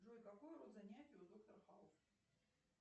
джой какой род занятий у доктор хаус